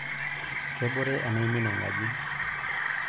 Kebore enaimin enkaji.